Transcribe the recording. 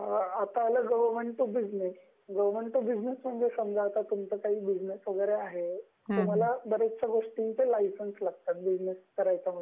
आता आल government to business ,म्हणजे आता समजा तुमचं गवर्नमेंट टू बिझनेस वैगेरे आहे, तुम्हाला बरयाचशा गोष्टीसाठी लायसन्स लागतात बिझनेस करायचा म्हणजे .